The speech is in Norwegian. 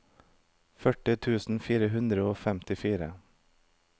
førti tusen fire hundre og femtifire